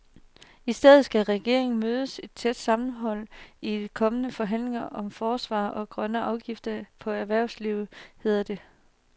I stedet skal regeringen møde et tæt sammenhold i de kommende forhandlinger om forsvaret og grønne afgifter på erhvervslivet, hedder det.